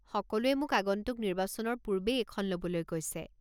সকলোৱে মোক আগন্তুক নিৰ্বাচনৰ পূৰ্বেই এইখন ল'বলৈ কৈছে।